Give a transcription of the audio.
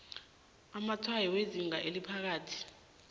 amatshwayo wezinga eliphakathi